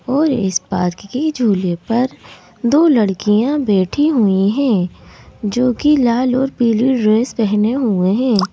और इस पार्क के झूले पर दो लड़कियां बैठी हुई हैं जो कि लाल और पीली ड्रेस पहने हुए हैं।